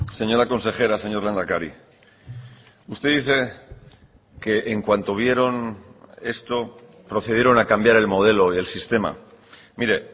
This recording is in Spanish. señora consejera señor lehendakari usted dice que en cuanto vieron esto procedieron a cambiar el modelo y el sistema mire